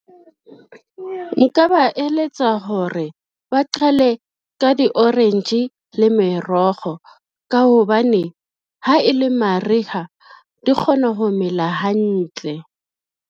Nka ba eletsa hore ba qhale ka di-orange le merogo ka hobane ha e le mariha di kgona ho mela hantle.